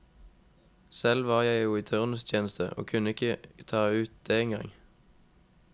Selv var jeg jo i turnustjeneste, og kunne ikke ta ut det engang.